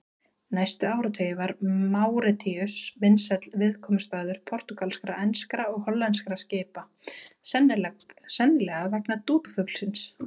Næstu áratugi var Máritíus vinsæll viðkomustaður portúgalskra, enskra og hollenskra skipa, sennilega vegna dúdúfuglsins.